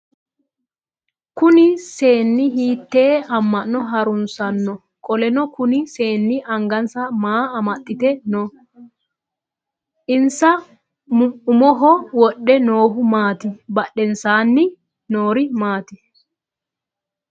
Kunni seenni hiitee ama'no harunsanno? Qoleno kunni seenni angansa maa amaxite no? Insa mumoho wodhe noohu maati? Badhensaanni noori maati?